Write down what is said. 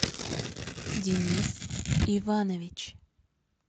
денис иванович